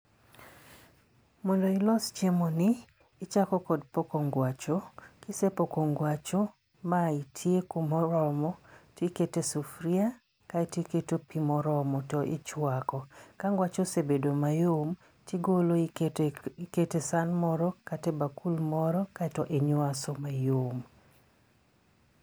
Mondo ilos chiemoni, ichako kod poko ngwacho, kisepoko ngwacho ma itieko moromo tikete sufria kae tiketo pi moromo to ichwako. Ka ngwacho osebedo mayom tigolo ikete san moro kata e bakul moro kaeto inywaso mayom.